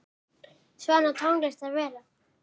Svona á tónlist að vera.